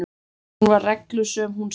Hún var reglusöm hún Stína.